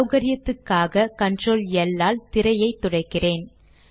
சௌகரியத்துக்காக control L all திரையை துடைக்கிறேன்